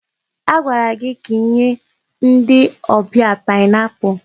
Agwara gị ka inye ndị ọbịa paịnapụlụ!